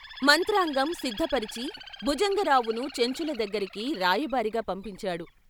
మంత్రాంగం సిద్ధ పరచి భుజంగరావును చెంచుల దగ్గరికి రాయబారిగా పంపించాడు.